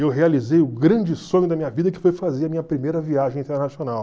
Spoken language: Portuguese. Eu realizei o grande sonho da minha vida, que foi fazer a minha primeira viagem internacional.